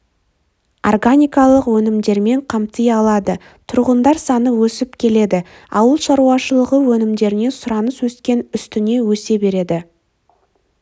органикалық өнімдермен қамти алады тұрғындар саны өсіп келеді ауылшаруашылығы өнімдеріне сұраныс өскен үстіне өсе береді